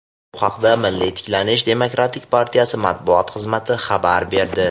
Bu haqda "Milliy tiklanish" demokratik partiyasi Matbuot xizmati ma’lumot berdi.